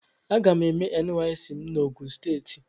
Aga m eme nysc m n'ogun steeti.